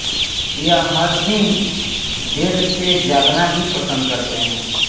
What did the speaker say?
यह हर दिन देर से जागना भी पसन्द करते हैं